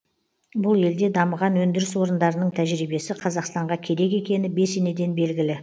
бұл елде дамыған өндіріс орындарының тәжірибесі қазақстанға керек екені бесенеден белгілі